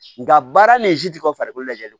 Nka baara ni ti bɔ farikolo lajɛlen